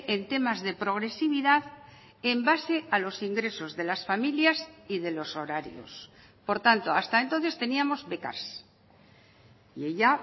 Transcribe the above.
en temas de progresividad en base a los ingresos de las familias y de los horarios por tanto hasta entonces teníamos becas y ella